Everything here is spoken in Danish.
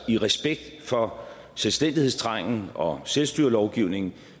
i respekt for selvstændighedstrangen og selvstyrelovgivningen